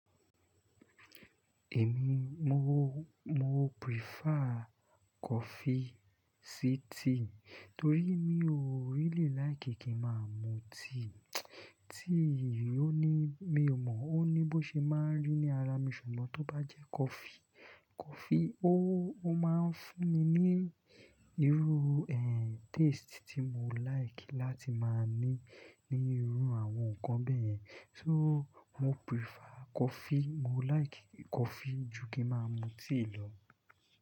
Èmi mo, mo prefer coffee sí tea, torí mi o really like kí ń máa mu tea. Tea ò ní, mi ò mọ̀ ó ní bó ṣe máa ń rí ní ara mi, ṣùgbọ́n tó bá jẹ́ coffee, coffee ó, ó máa ń fún mi ní irú, taste tí mò like láti máa ní ní irú àwọn nǹkan bẹ́yẹn. So mo prefer coffee, mo like coffee ju kí ń máa mu tea lọ.